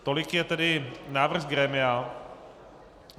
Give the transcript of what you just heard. Tolik je tedy návrh z grémia.